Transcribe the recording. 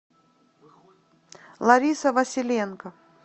лариса василенко